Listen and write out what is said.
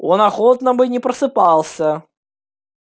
он охотно бы не просыпался